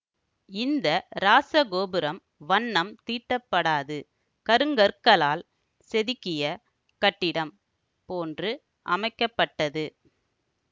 இந்த ராசகோபுரம் வண்னம் தீட்டப்படாது கருங்கற்களால் செதுக்கிய கட்டிடம் போன்று அமைக்க பட்டது